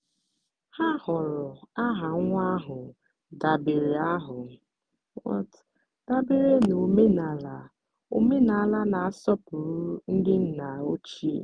ha họọrọ aha nwa ahụ dabere ahụ dabere na omenala omenala na-asọpụrụ ndị nna ochie.